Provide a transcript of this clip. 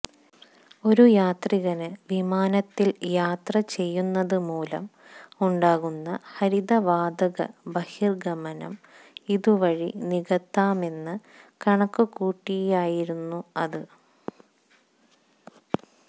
ഒരു യാത്രികന് വിമാനത്തില് യാത്ര ചെയ്യുന്നത് മൂലം ഉണ്ടാകുന്ന ഹരിതവാതക ബഹിര്ഗ്ഗമനം ഇതുവഴി നികത്താമെന്ന് കണക്കുകൂട്ടിയായിരുന്നു അത്